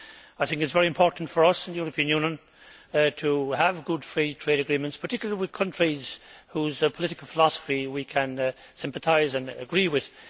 I think it is very important for us in the European Union to have good Free Trade Agreements, particularly with countries whose political philosophy we can sympathise and agree with.